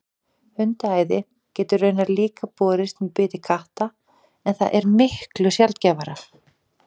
hundaæði getur raunar líka borist með biti katta en það er miklu sjaldgæfara